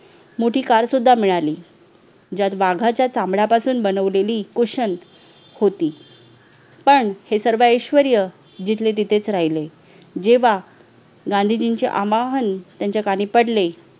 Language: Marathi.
मोठी काल सुद्धा मिळाली ज्यात वाघाच्या चामड्यापासून बनवलेली कुशन होती पण हे सर्व ऐश्वर्या जिथे तिथेच राहिलं जेव्हा गांधीजींचे अमाहल त्यांच्या दारी पडले